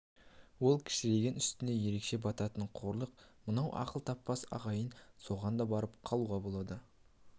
ол кішірейген үстіне ерекше бататын қорлық бірақ мынау ақыл таппас ағайын соған да барып қалуға болады